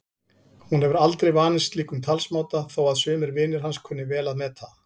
Hún hefur aldrei vanist slíkum talsmáta þó að sumir vinir hans kunni vel að meta.